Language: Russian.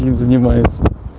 чем занимаются